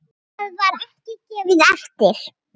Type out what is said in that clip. Það var ekki gefið eftir.